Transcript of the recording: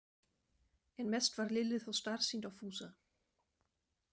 En mest varð Lillu þó starsýnt á Fúsa.